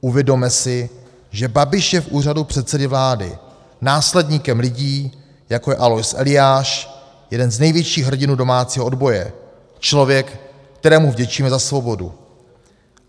Uvědomme si, že Babiš je v úřadu předsedy vlády následníkem lidí, jako je Alois Eliáš, jeden z největších hrdinů domácího odboje, člověk, kterému vděčíme za svobodu.